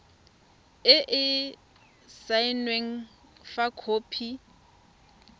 e e saenweng fa khopi